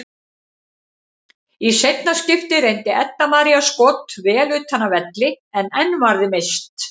Í seinna skiptið reyndi Edda María skot vel utan af velli en enn varði Mist.